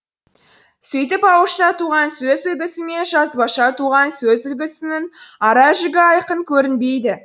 сөйтіп ауызша туған сөз үлгісі мен жазбаша туған сөз үлгісінің ара жігі айқын көрінбейді